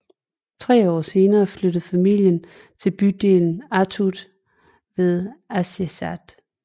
Tre år senere flyttede familien til bygden Attu ved Aasiaat